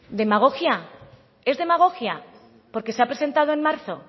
demagogia es demagogia porque se ha presentado en marzo